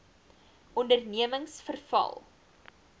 ondernemingsveral